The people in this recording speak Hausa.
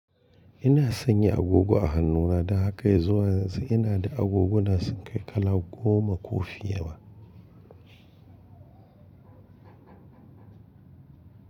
Ina sanya agogo a hannuna da haka yanzu ina da agogona sun kai kala goma ko fiye ba.